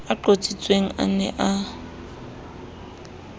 a qotsitsweng a ne a